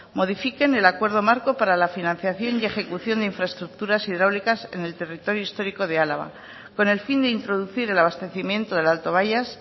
modifiquen el acuerdo marco para la financiación y ejecución de infraestructuras hidráulicas en el territorio histórico de álava con el fin de introducir el abastecimiento del alto bayas